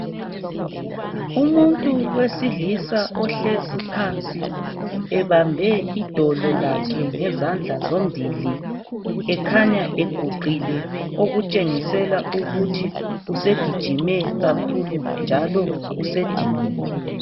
Umuntu wesilisa ohlezi phansi ebambe idolo lakhe ngezandla zombili. Ekhanya eguqile okutshengisela ukuthi usegijime kakhulu njalo usediniwe.